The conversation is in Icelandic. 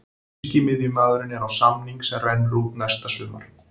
Þýski miðjumaðurinn er á samning sem rennur út næsta sumar.